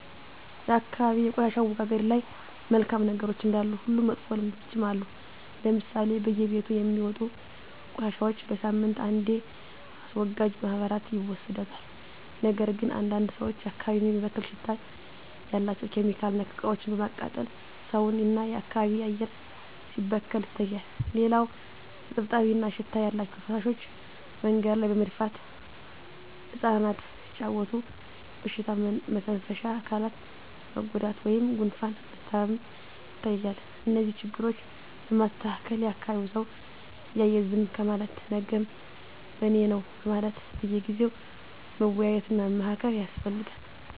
የአካባቢ የቆሻሻ አወጋገድ ላይ መልካም ነገሮች እንዳሉ ሁሉ መጥፎ ልምዶችም አሉ ለምሳሌ በየቤቱ የሚወጡ ቆሻሻዎች በሳምንት አንዴ አስወጋጅ ማህበራት ይወስዱታል ነገር ግን አንዳንድ ሰዎች አካባቢን የሚበክል ሽታ ያላቸው (ኬሚካል)ነክ እቃዎችን በማቃጠል ሰውን እና የአካባቢ አየር ሲበከል ይታያል። ሌላው እጥብጣቢ እና ሽታ ያላቸው ፍሳሾች መንገድ ላይ በመድፋት እፃናት ሲጫዎቱ በሽታ መተንፈሻ አካላት መጎዳት ወይም ጉፋን መታመም ይታያል። እነዚህን ችግሮች ለማስተካከል የአካቢዉ ሰው እያየ ዝም ከማለት ነገም በኔነው በማለት በየጊዜው መወያየት እና መመካከር ያስፈልጋል።